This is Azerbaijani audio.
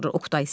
Oqtay.